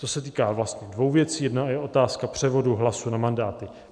To se týká vlastně dvou věcí, jedna je otázka převodu hlasů na mandáty.